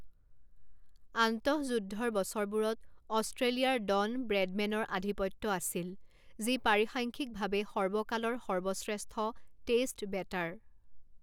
আন্তঃযুদ্ধৰ বছৰবোৰত অষ্ট্ৰেলিয়াৰ ডন ব্ৰেডমেনৰ আধিপত্য আছিল, যি পৰিসাংখ্যিকভাৱে সৰ্বকালৰ সৰ্বশ্ৰেষ্ঠ টেষ্ট বেটাৰ।